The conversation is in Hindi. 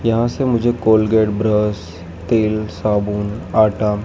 यहां से मुझे कोलगेट ब्रश तेल साबुन आटा--